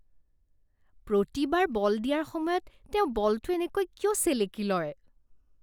প্ৰতিবাৰ ball দিয়াৰ সময়ত তেওঁ বলটো এনেকৈ কিয় চেলেকি লয়?